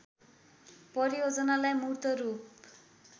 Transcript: परियोजनालाई मूर्त रूप